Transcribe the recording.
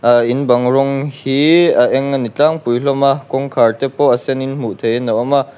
a in bang rawng hi a eng a ni tlangpui hlawm a kawngkhar te pawh a sen in hmuh theih in a awm a--